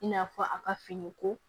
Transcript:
I n'a fɔ a ka fini ko